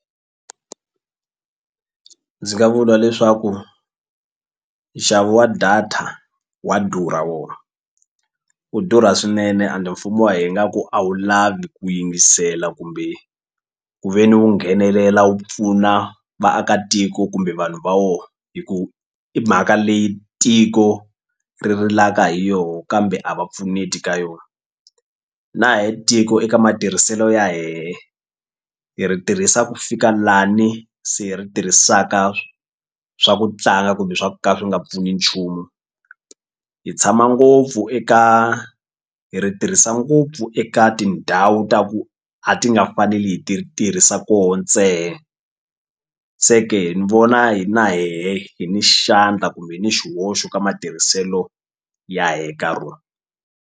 Ndzi nga vula leswaku nxavo wa data wa durha wona wu durha swinene and mfumo wa ngaku a wu lavi ku yingisela kumbe ku ve ni wu nghenelela wu pfuna vaakatiko kumbe vanhu va wo hi ku i mhaka leyi tiko ri rilaka hi yoho kambe a va pfuneti ka yona na hi tiko eka matirhiselo ya hehe hi ri tirhisa ku fika lani se hi ri tirhisaka swa ku tlanga kumbe swa ka swi nga pfuni nchumu hi tshama ngopfu eka hi ri tirhisa ngopfu eka tindhawu ta ku a ti nga faneli hi ti tirhisa koho se ke ni vona hina hehe hi ni xandla kumbe hi ni xihoxo ka matirhiselo ya he ka .